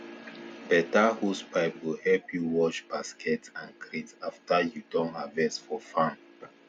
better hosepipe go help you wash basket and crate after you don harvest for farm